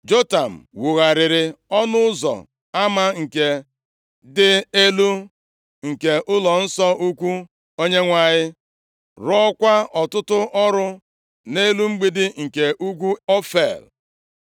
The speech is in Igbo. Jotam wugharịrị Ọnụ Ụzọ Ama nke dị Elu nke ụlọnsọ ukwu Onyenwe anyị, rụọkwa ọtụtụ ọrụ nʼelu mgbidi nke ugwu Ofel.